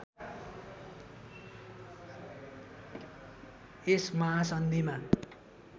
यस महासन्धिमा